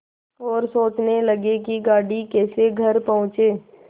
और सोचने लगे कि गाड़ी कैसे घर पहुँचे